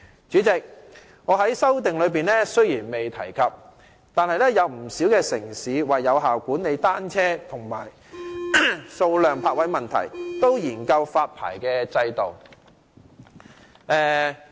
主席，雖然我在修正案中未有提及，但不少城市為有效管理單車的數量及泊位問題，也會研究發牌制度。